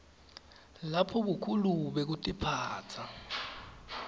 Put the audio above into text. lapho bukhulu bekutiphatsa